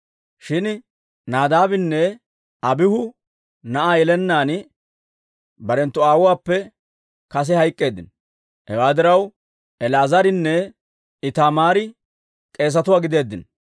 Shin Nadaabinne Abiihu na'aa yelennaan barenttu aawuwaappe kase hayk'k'eeddino. Hewaa diraw, El"aazarinne Itaamaari k'eesatuwaa gideeddino.